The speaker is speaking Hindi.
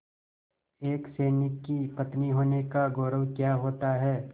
एक सैनिक की पत्नी होने का गौरव क्या होता है